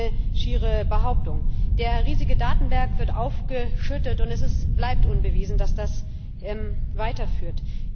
Das ist eine schiere Behauptung. Der riesige Datenberg wird aufgeschüttet, und es bleibt unbewiesen, dass das weiterführt.